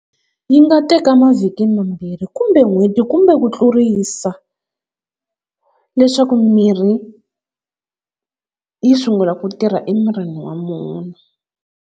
Yi nga teka mavhiki mambirhi kumbe n'hweti kumbe ku tlurisa leswaku mirhi yi sungula ku tirha emirini wa munhu.